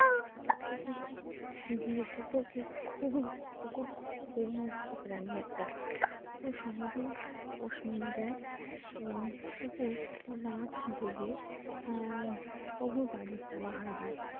দিয়ে কুকুর খুবই প্রভুভক্ত প্রাণী একটা অতি সহজেই পোষ মেনে যায় এবং কুকুর রাত জেগে আহ প্রভুর বাড়ি পাহারা দেয়।